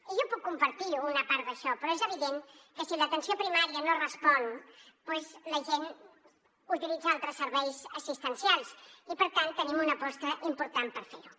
i jo puc compartir una part d’això però és evident que si l’atenció primària no respon doncs la gent utilitza altres serveis assistencials i per tant tenim una aposta important per fer ho